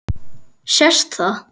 Sést það?